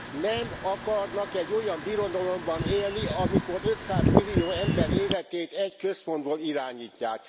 Nem akarnak egy olyan birodalomban élni, amikor 500 millió ember életét egy központból irányítják!